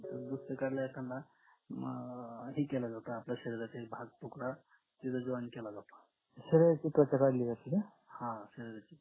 मग हे केलं जातं आपल्या शरीरातील भाग तुटला तिथे join केला जातो हा शरीराची